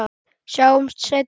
Sjáumst seinna.